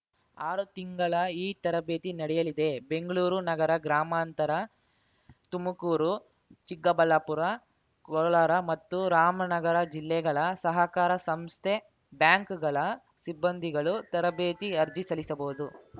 ಆರು ತಿಂಗಳ ಈ ತರಬೇತಿ ನಡೆಯಲಿದೆ ಬೆಂಗ್ಳೂರು ನಗರ ಗ್ರಾಮಾಂತರ ತುಮಕೂರು ಚಿಕ್ಕಬಳ್ಳಾಪುರ ಕೋಲಾರ ಮತ್ತು ರಾಮನಗರ ಜಿಲ್ಲೆಗಳ ಸಹಕಾರ ಸಂಸ್ಥೆಬ್ಯಾಂಕ್‌ಗಳ ಸಿಬ್ಬಂದಿಗಳು ತರಬೇತಿ ಅರ್ಜಿ ಸಲ್ಲಿಸಬಹುದು